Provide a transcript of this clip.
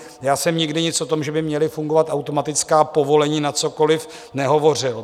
Já jsem nikdy nic o tom, že by měla fungovat automatická povolení na cokoliv, nehovořil.